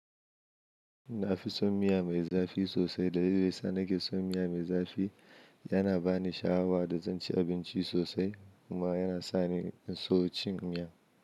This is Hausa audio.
Na fi son miya mai zafi sosai. Dalilin sa, na ke son miya mai zafi. Tana ba ni sha'awa da zanci abinci sosai kuma yana sa ni in so cin miya.